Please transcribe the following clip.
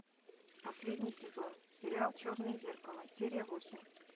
последний сезон сериал черное зеркало серия восемь